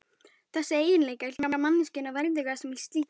Þessir eiginleikar gera manneskjuna verðuga sem slíka.